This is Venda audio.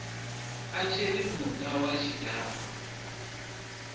a tshiri muta wa tshidakwa